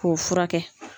K'o furakɛ